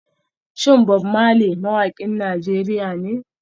Shin Bob Marley mawakin Najeriya ne?